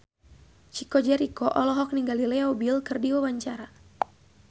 Chico Jericho olohok ningali Leo Bill keur diwawancara